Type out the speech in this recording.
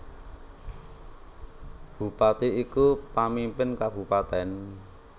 Bupati iku pamimpin kabupatèn